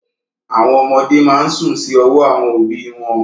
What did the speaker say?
Àwọn ọmọdé máa ń sùn sí ọwọ́ àwọn òbí wọn.